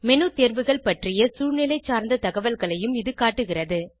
menu தேர்வுகள் பற்றிய சூழ்நிலை சார்ந்த தகவல்களையும் இது காட்டுகிறது